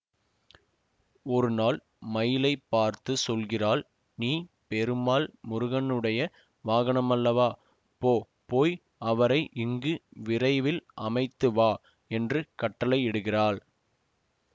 ஒருநாள் மயிலைப் பார்த்து சொல்கிறாள் நீ பெருமான் முருகனுடைய வாகனமல்லவா போ போய் அவரை இங்கு விரைவில் அமைத்து வா என்று கட்டளை இடுகிறாள்